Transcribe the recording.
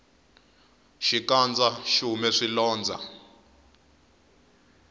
xikandza xihume swilondza